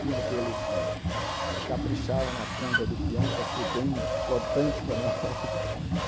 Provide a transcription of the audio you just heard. tinha aqueles que que caprichavam na ponta do pião para ser bem cortante para na hora que.